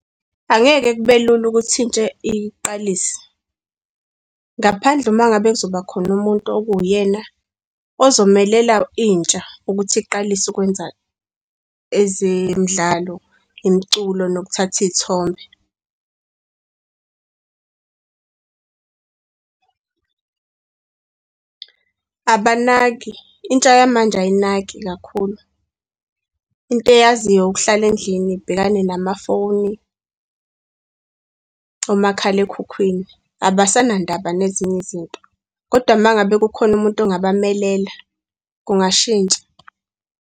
Angeke kube lula ukuthi intsha iqalise, ngaphandle uma ngabe kuzoba khona umuntu okuwuyena ozomelela intsha ukuthi iqalise ukwenza ezemidlalo, imiculo, nokuthatha iy'thombe . Abanaki, intsha yamanje ayinaki kakhulu. Into eyaziyo ukuhlala endlini, ibhekane namafoni, omakhalekhukhwini. Abasanandaba nezinye izinto. Kodwa uma ngabe kukhona umuntu ongabamelela kungashintsha.